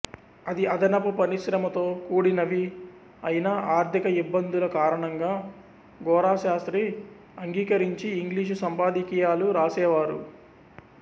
అది అదనపు పనిశ్రమతో కూడినవి అయినా ఆర్థిక యిబ్బందుల కారణంగా గోరాశాస్త్రి అంగికరించి ఇంగ్లీషు సంపాదకీయాలు రాసేవారు